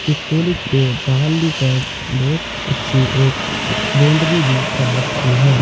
इस कॉलेज के बाहरली साइड बहुत अच्छी एक बाउंड्री भी कर रखी है।